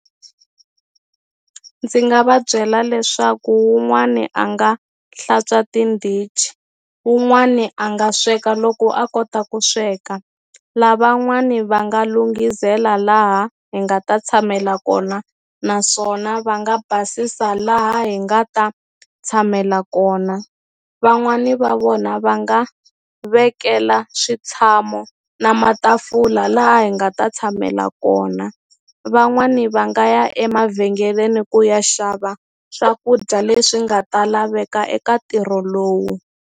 Ndzi nga va byela leswaku wun'wani a nga hlantswa tindhichi wun'wani a nga sweka loko a kota ku sweka lavan'wani va nga lunghisela laha hi nga ta tshamela kona naswona va nga basisa laha hi nga ta tshamela kona van'wani va vona va nga vekela switshamo na matafula laha hi nga ta tshamela kona van'wani va nga ya emavhengeleni ku ya xava swakudya leswi nga ta laveka eka ntirho lowu.